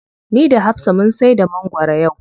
Ni da hafsa mun saida mangwaro yau.